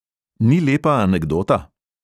Ni lepa anekdota?